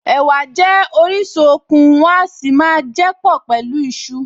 Ẹ̀wà jẹ́ orísun okun, wọ́n a sì máa jẹ́ pọ̀ pẹ̀lú iṣu